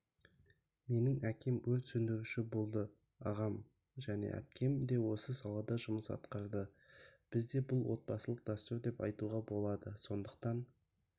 менің әкем өрт сөндіруші болды ағам және әпкем де осы салада жұмыс атқарады бізде бұл отбасылық дәстүр деп айтуға болады сондықтан